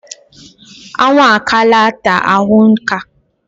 Anwụ akaala ata ahụ nka.